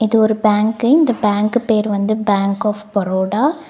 இது ஒரு பேங்க்கு இந்த பேங்க்கு பேரு வந்து பேங்க் ஆஃப் பரோடா.